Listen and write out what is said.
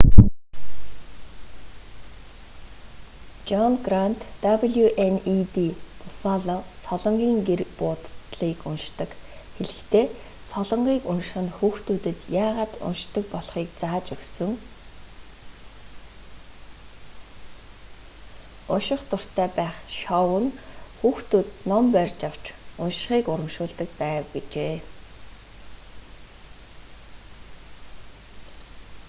жон грант wned буффало солонгын гэр буудлыг уншдаг хэлэхдээ солонгыг унших нь хүүхдүүдэд яагаад уншдаг болохыг зааж өгсөн... унших дуртай байх [шоу] нь хүүхдүүд ном барьж авч уншихыг урамшуулдаг байв гэжээ